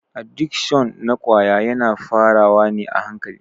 Adikshon na ƙwaya yana fara wa ne a hankali.